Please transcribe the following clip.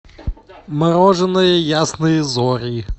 мороженое ясные зори